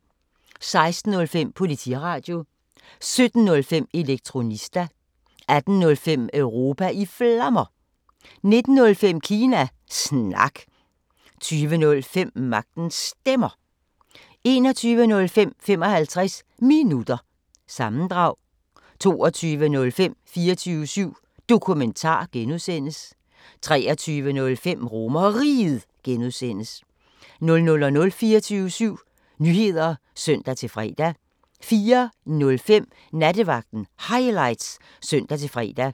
16:05: Politiradio 17:05: Elektronista 18:05: Europa i Flammer 19:05: Kina Snak 20:05: Magtens Stemmer 21:05: 55 Minutter – sammendrag 22:05: 24syv Dokumentar (G) 23:05: RomerRiget (G) 00:00: 24syv Nyheder (søn-fre) 04:05: Nattevagten Highlights (søn-fre)